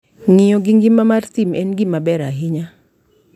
Ng'iyo gi ngima mar thim en gima ber ahinya.